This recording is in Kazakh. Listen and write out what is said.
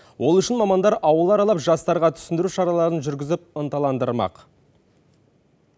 ол үшін мамандар ауыл аралап жастарға түсіндіру шараларын жүргізіп ынталандырмақ